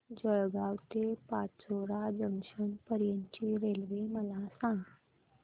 जळगाव ते पाचोरा जंक्शन पर्यंतची रेल्वे मला सांग